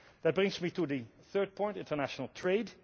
That brings me to the third point international trade.